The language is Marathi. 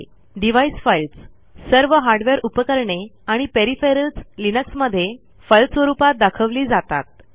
३डिव्हाइस फाईल्स सर्व हार्डवेअर उपकरणे आणि पेरिफेरल्स लिनक्समधे फाईल स्वरूपात दाखवली जातात